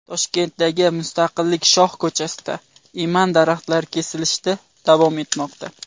Toshkentdagi Mustaqillik shoh ko‘chasida eman daraxtlari kesilishda davom etmoqda .